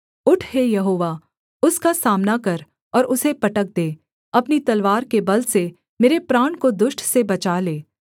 उठ हे यहोवा उसका सामना कर और उसे पटक दे अपनी तलवार के बल से मेरे प्राण को दुष्ट से बचा ले